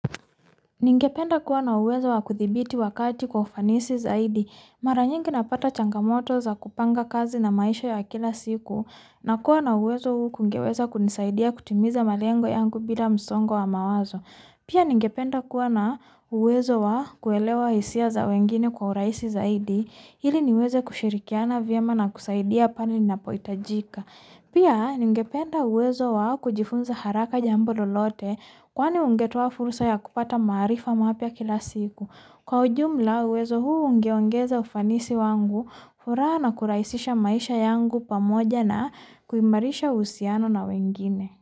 Ningependa kuwa na uwezo wa kudhibiti wakati kwa ufanisi zaidi. Mara nyingi napata changamoto za kupanga kazi na maisha ya kila siku, nakuwa na uwezo huku ungeweza kunisaidia kutimiza malengo yangu bila msongo wa mawazo. Pia ningependa kuwa na uwezo wa kuelewa hisia za wengine kwa urahisi zaidi, ili niweze kushirikiana vyema na kusaidia pale napohitajika. Pia, ningependa uwezo wa kujifunza haraka jambo lolote, kwani ungetuwa fursa ya kupata maarifa maha pia kila siku. Kwa ujumla, uwezo huu ungeweza ufanisi wangu, furaha na kurahisisha maisha yangu pamoja na kumarisha uhusiano na wengine.